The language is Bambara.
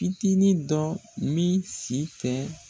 Fitinin dɔ min si tɛ